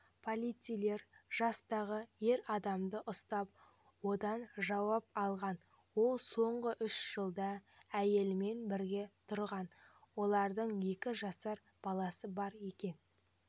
полицейлер жастағы ер адамды ұстап оданжауап алған ол соңғы үш жылда әйелмен бірге тұрған олардың екі жасар баласы бар екен